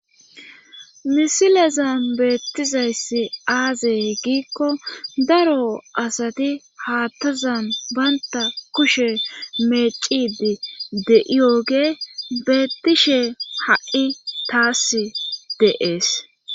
misilezan beettizayssi aazey giikko daro asati haattazan baynta kushe meecidi de7iyogee beettishe ha7i taas deees